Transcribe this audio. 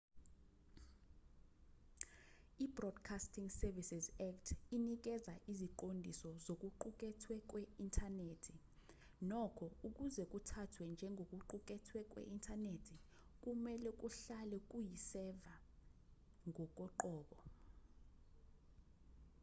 ibroadcasting services act inikeza iziqondiso zokuqukethwe kwe-inthanethi nokho ukuze kuthathwe njengokuqukethwe kwe-inthanethi kumelwe kuhlale kuyi-server ngokoqobo